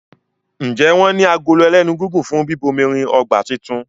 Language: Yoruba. Njé wón ní Agolo ẹlẹ́nu gígùn fún bíbomirin ọgbà títún?